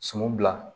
Sun bila